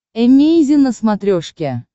эмейзин на смотрешке